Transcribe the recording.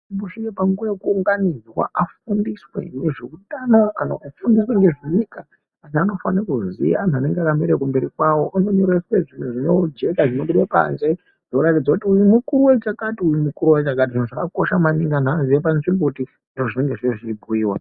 Kusvika panguwa yaanounganidzwe afundiswe nezveutano anthu anofane kuziya anthu anenge akamira kumberi kwawo zviro zvinojeka zvinobude panze zvinoratidza kuti uyu mukuru wechakati uyu mukuru wechakati zvakakosha maningi anthu aziye panzvimbo zvinenge zveibhuyiwa.